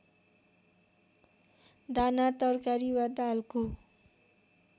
दाना तरकारी वा दालको